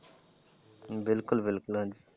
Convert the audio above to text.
ਬਿਲਕੁਲ ਬਿਲਕੁਲ ਹਾਂਜੀ।